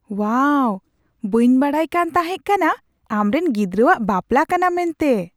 ᱳᱣᱟᱣ ! ᱵᱟᱹᱧ ᱵᱟᱰᱟᱭ ᱠᱟᱱ ᱛᱟᱦᱮᱸ ᱠᱟᱱᱟ ᱟᱢᱨᱮᱱ ᱜᱤᱫᱽᱨᱟᱹᱣᱟᱜ ᱵᱟᱯᱞᱟ ᱠᱟᱱᱟ ᱢᱮᱱᱛᱮ !